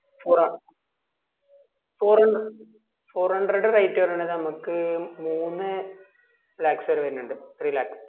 four ആ four hundre four hundred rate വരണത് നമക്ക് മൂന്നേ lakhs വരെ വരുനിണ്ട് three lakhs